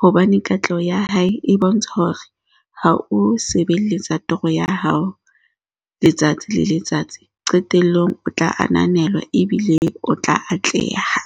hobane katleho ya hae e bontsha hore ha o sebeletsa toro ya hao letsatsi le letsatsi, qetellong o tla ananelwa ebile o tla atleha.